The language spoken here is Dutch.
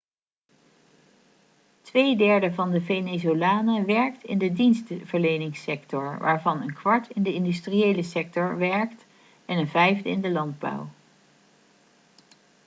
tweederde van de venezolanen werkt in de dienstverleningssector waarvan een kwart in de industriële sector werkt en een vijfde in de landbouw